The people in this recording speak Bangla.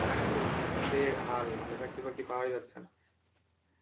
চাকরি-বাকরি তো এই হাল মানে চাকরি-বাকরি পাওয়াই যাচ্ছে না,